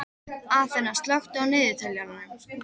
Aþena, slökktu á niðurteljaranum.